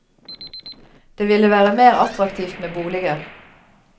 Det ville være mer attraktivt med boliger.